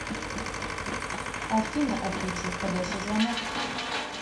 афина отключи входящий звонок